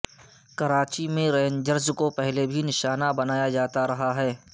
کراچی میں رینجرز کو پہلے بھی نشانہ بنایا جاتا رہا ہے